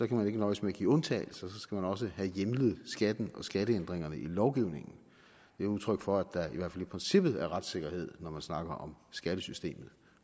kan man ikke nøjes med at give undtagelser så skal man også have hjemlet skatten og skatteændringerne i lovgivningen det er udtryk for at hvert fald i princippet er retssikkerhed når man snakker om skattesystemet